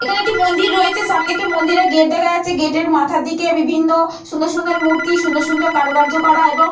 এইখানে একটি মন্দির রয়েছে। সামনে একটি মন্দিরের গেট দেখা যাচ্ছে। গেটের মাথার দিকে বিভিন্ন সুন্দর সুন্দর মূর্তি সুন্দর সুন্দর কারুকার্য করা এবং।